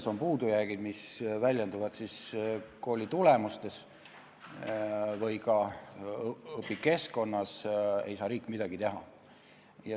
Kui on puudujäägid, mis väljenduvad kooli õpitulemustes või ka õpikeskkonnas, ei saa riik midagi teha.